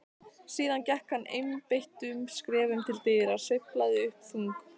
Síðan gekk hann einbeittum skrefum til dyra, sveiflaði upp þung